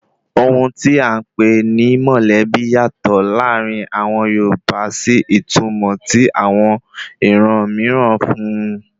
Ohun tí à ń pè ni mọ̀lẹ́bí yàtọ̀ láàrin àwọn Yorùbá sí ìtumọ̀ tí àwọn iran mìíràn fún un